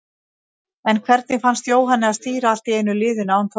En hvernig fannst Jóhanni að stýra allt í einu liðinu, án Þorláks?